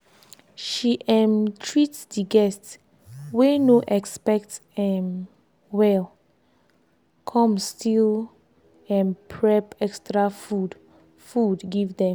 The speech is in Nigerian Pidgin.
she um treat de guests wey no expect um wellcomes still um prep extra food food give dem